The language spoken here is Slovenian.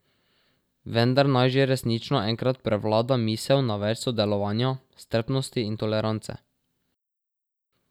Vendar naj že resnično enkrat prevlada misel na več sodelovanja, strpnosti in tolerance.